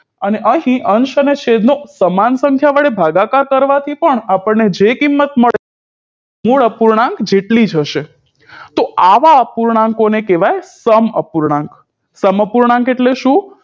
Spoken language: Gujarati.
અને અહી અંશ અને છેદ નો સમાન સંખ્યા વડે ભાગાકાર કરવાથી પણ અપણને જે કિમત મળે મૂળ અપૂર્ણાંક જેટલી જ હશે તો આવ્યા અપૂર્ણાંકો ણે કેવી સમઅપૂર્ણાંક સમઅપૂર્ણાંક એટલે શું